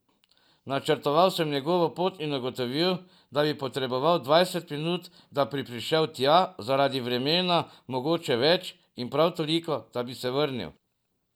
Načrtal sem njegovo pot in ugotovil, da bi potreboval dvajset minut, da bi prišel tja, zaradi vremena mogoče več, in prav toliko, da bi se vrnil.